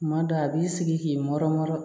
Kuma dɔ a b'i sigi k'i mɔrɔ